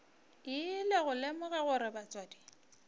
ile go lemoga gore batswadi